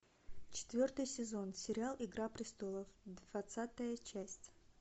четвертый сезон сериал игра престолов двадцатая часть